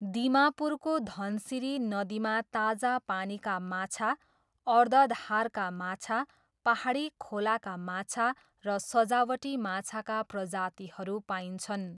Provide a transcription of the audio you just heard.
दिमापुरको धनसिरी नदीमा ताजा पानीका माछा, अर्धधारका माछा, पाहाडी खोलाका माछा र सजावटी माछाका प्रजातिहरू पाइन्छन्।